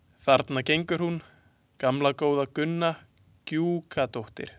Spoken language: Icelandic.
Þarna gengur hún, gamla góða Gunna Gjúkadóttir.